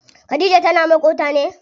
Khadija tana maƙota ne?